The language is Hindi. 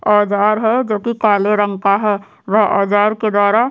औजार है जोकि काले रंग का है वह औजार के द्वारा --